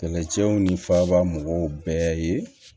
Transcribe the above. Kɛlɛcɛw ni faba mɔgɔw bɛɛ ye